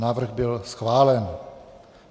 Návrh byl schválen.